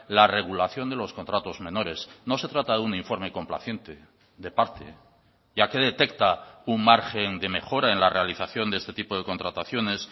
la regulación de los contratos menores no se trata de un informe complaciente de parte ya que detecta un margen de mejora en la realización de este tipo de contrataciones